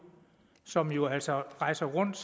som jo altså rejser rundt